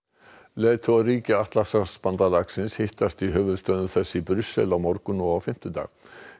leiðtogar allra ríkja Atlantshafsbandalagsins hittast í höfuðstöðvum þess í Brussel á morgun og á fimmtudag